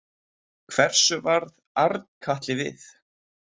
Hversu varð Arnkatli við?